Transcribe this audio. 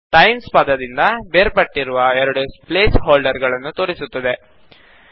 times ಪದದಿಂದ ಬೇರ್ಪಟ್ಟಿರುವ ಎರಡು ಪ್ಲೇಸ್ ಹೋಲ್ಡರ್ ಗಳನ್ನು ತೋರಿಸುತ್ತದೆ